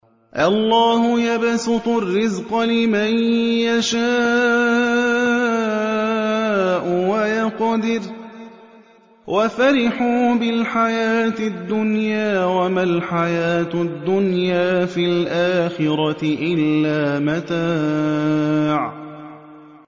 اللَّهُ يَبْسُطُ الرِّزْقَ لِمَن يَشَاءُ وَيَقْدِرُ ۚ وَفَرِحُوا بِالْحَيَاةِ الدُّنْيَا وَمَا الْحَيَاةُ الدُّنْيَا فِي الْآخِرَةِ إِلَّا مَتَاعٌ